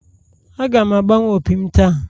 Aga m agbanwe opi m taa